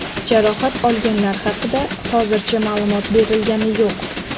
Jarohat olganlar haqida hozircha ma’lumot berilgani yo‘q.